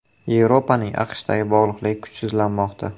Yevropaning AQShdan bog‘liqligi kuchsizlanmoqda.